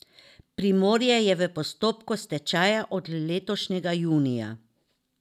Primorje je v postopku stečaja od letošnjega junija.